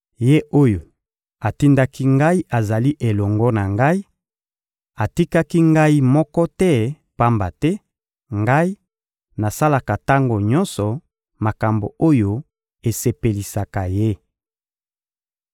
Ye oyo atindaki Ngai azali elongo na Ngai; atikaki Ngai moko te, pamba te, Ngai, nasalaka tango nyonso makambo oyo esepelisaka Ye.